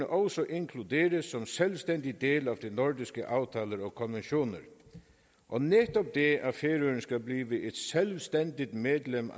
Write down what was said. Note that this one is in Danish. også inkluderes som en selvstændig del af de nordiske aftaler og konventioner og netop det at færøerne skal blive et selvstændigt medlem